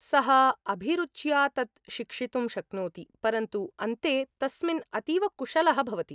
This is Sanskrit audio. सः अभिरुच्या तत् शिक्षितुं शक्नोति, परन्तु अन्ते तस्मिन् अतीव कुशलः भवति ।